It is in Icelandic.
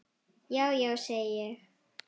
Já, já, segi ég.